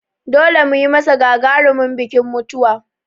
Dole mu yi masa gagarumin bikin mutuwa!